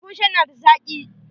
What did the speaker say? Abun shan na da zaki.